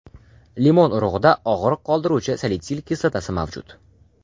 Limon Limon urug‘ida og‘riq qoldiruvchi salitsil kislotasi mavjud.